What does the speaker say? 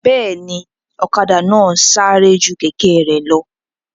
Bẹ́ẹ̀ni, ọ̀kadà náà sáré ju kẹ̀kẹ́ rẹ̀ lọ